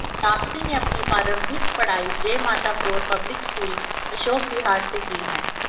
तापसी ने अपनी प्रारंभिक पढ़ाई जय माता कौर पब्लिक स्कूल अशोक विहार से की है